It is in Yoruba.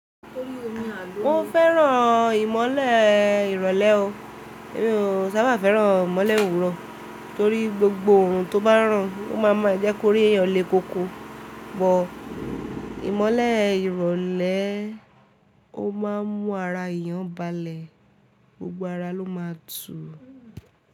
Mo fẹ́ràn ìmọ́lẹ̀ ìrọ̀lẹ́ o, èmi ò sábà fẹ́ràn ìmọ́lẹ̀ òwúrọ̀ torí gbogbo orun tó bá ràn ó ma maa jẹ́ kó rí èyàn lé koko, but ìmọ́lẹ̀ ìrọ̀lẹ́ o máa mú ara èyàn balẹ̀, gbogbo ara ló má a tu.